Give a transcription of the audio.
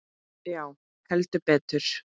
Já, heldur betur.